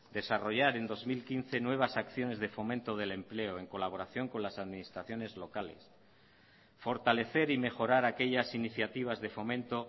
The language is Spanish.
desarrollar en dos mil quince nuevas acciones de fomento del empleo en colaboración con las administraciones locales fortalecer y mejorar aquellas iniciativas de fomento